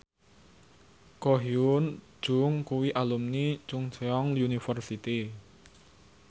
Ko Hyun Jung kuwi alumni Chungceong University